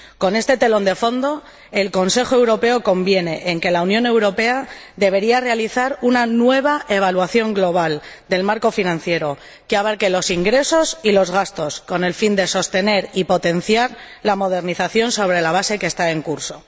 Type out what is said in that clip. Con este telón de fondo, el Consejo Europeo conviene en que la Unión Europea debería realizar una nueva evaluación global del marco financiero, que abarque los ingresos y los gastos, con el fin de sostener y potenciar la modernización, sobre la base que está en curso.